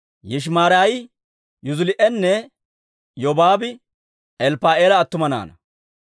Yishimaraayi, Yuzilii'inne Yobaabi Elppa'aala attuma naanaa.